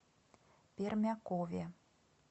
пермякове